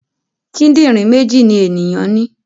Kídìrín méjì ni ènìyàn ní.